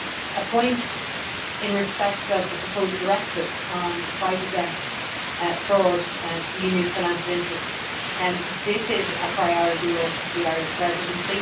One point in respect of the proposed directive on the fight against fraud to the Union's financial interests this is a priority for the Irish Presidency.